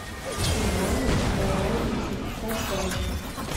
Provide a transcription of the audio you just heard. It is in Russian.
иване николаевиче петросяне